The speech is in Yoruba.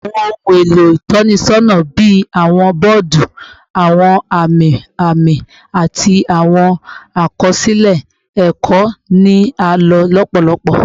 Awọn ohun elo itọnisọna bii awọn bọọdu, awọn ami ami, ati awọn akọsilẹ ẹkọ ni a lo lọpọlọpọ